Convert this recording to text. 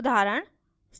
static function